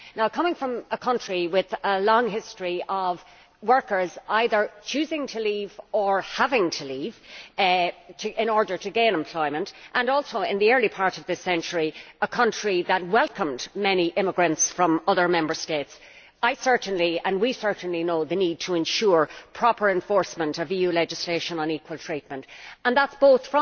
Coming from a country with a long history of workers either choosing to leave or having to leave in order to gain employment and also, in the early part of this century, a country which welcomed many immigrants from other Member States I certainly and we certainly know the need for ensuring the proper enforcement of EU legislation on equal treatment. This applies both